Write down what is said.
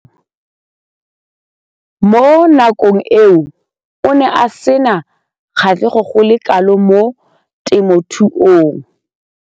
Mo nakong eo o ne a sena kgatlhego go le kalo mo temothuong.